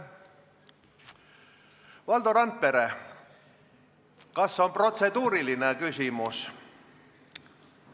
Valdo Randpere, kas on protseduuriline küsimus?